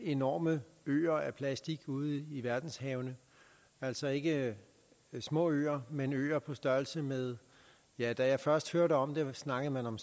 enorme øer af plastik ude i verdenshavene altså ikke små øer men øer på størrelse med ja da jeg først hørte om det snakkede man om